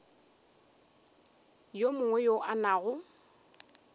yo mongwe yo a nago